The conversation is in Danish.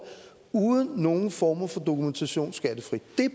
uden nogen former for dokumentation skattefrit